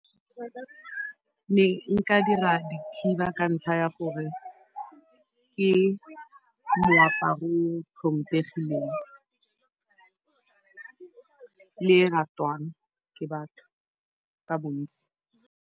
Ne nka dira dikhiba ka ntlha ya gore ke moaparo o tlhompegileng le e ratwang ke batho ka bontsi.